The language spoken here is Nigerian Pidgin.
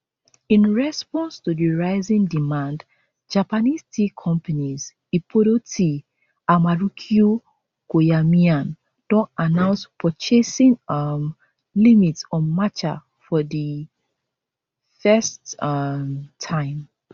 in response to di rising demand japanese tea companies ippodo tea and marukyu koyamaen don announce purchasing um limits on matcha for di first um time